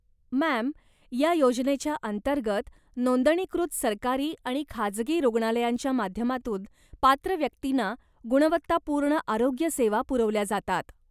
Ma'am, या योजनेच्या अंतर्गत नोंदणीकृत सरकारी आणि खाजगी रुग्णालयांच्या माध्यमातून पात्र व्यक्तींना गुणवत्तापूर्ण आरोग्य सेवा पुरवल्या जातात.